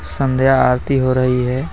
संध्या आरती हो रही है.